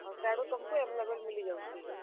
ଓଃ ସେଆଡୁ ତୁମ୍ କୁ available ମିଲିଯାଉଛେ?